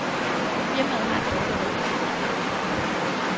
Firmaet har et dårligt rygte. punktum